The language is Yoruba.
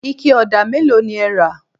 ike òdà mélòó ni ẹ rà?